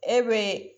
E be